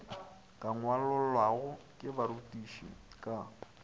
ka ngwalollwago ke barutiši ka